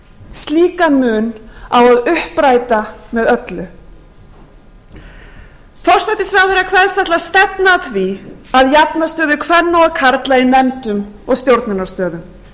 slíkan mun á að uppræta með öllu forsætisráðherra kveðst ætla að stefna að því að jafna stöðu kvenna og karla í nefndum og stjórnunarstöðum virðulegi forseti hér hefðu verið hæg heimatökin